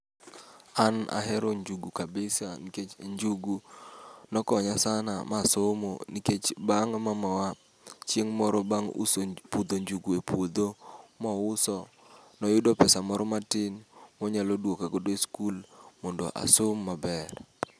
An ahero njugu kabisa nikech njugu ne okonya sana ma asomo, nikech bang' mamawa chieng' moro bang' uso pudho njugu, e puodgo mouso, ne oyudo pesa moro matin monyalo duoka godo e sikul mondo asom maber.